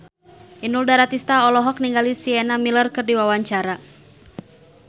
Inul Daratista olohok ningali Sienna Miller keur diwawancara